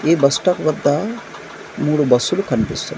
ఈ bus stop వద్ద మూడు బస్సులు కన్పిస్--